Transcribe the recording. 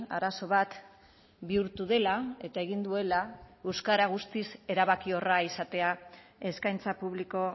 arazo bat bihurtu dela eta egin duela euskara guztiz erabakiorra izatea eskaintza publiko